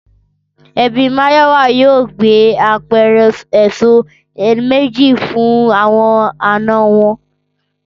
Ẹbí Máyọ̀wá yóò gbé apẹ̀rẹ̀ èso méjì fún àwọn àna wọn